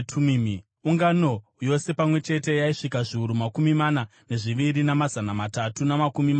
Ungano yose pamwe chete yaisvika zviuru makumi mana nezviviri namazana matatu namakumi matanhatu,